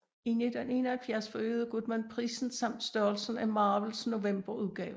I 1971 forøgede Goodman prisen samt størrelsen af Marvels november udgave